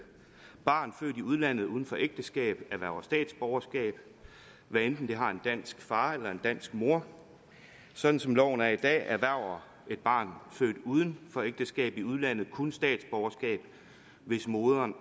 barn født i udlandet uden for ægteskab erhverver statsborgerskab hvad enten det har en dansk far eller en dansk mor sådan som loven er i dag erhverver et barn født uden for ægteskab i udlandet kun statsborgerskab hvis moderen